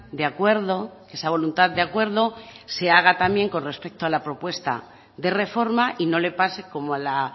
de acuerdo que esa voluntad de acuerdo se haga también con respeto a la propuesta de reforma y no le pase como a la